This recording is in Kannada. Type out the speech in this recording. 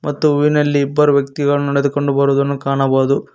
ಮತ್ತು ಇಲ್ಲಿ ಬರುವ ವ್ಯಕ್ತಿಗಳು ನಡೆದುಕೊಂಡು ಬರುವುದನ್ನು ಕಾಣಬಹುದು.